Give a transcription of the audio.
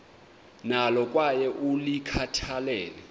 nalo kwaye ulikhathalele